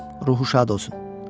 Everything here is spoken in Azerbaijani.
Ruhu şad olsun.